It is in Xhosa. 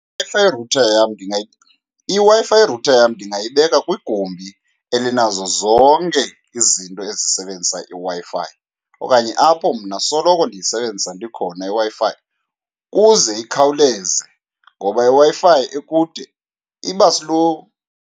IWi-Fi router yam , iWi-Fi router yam ndingayibeka kwigumbi elinazo zonke izinto ezisebenzisa iWi-Fi okanye apho mna soloko ndiyisebenzisa ndikhona iWi-Fi kuze ikhawuleze, ngoba iWi-Fi ekude iba slow.